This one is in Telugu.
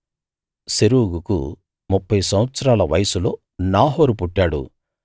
సెరూగుకు ముప్ఫై సంవత్సరాల వయస్సులో నాహోరు పుట్టాడు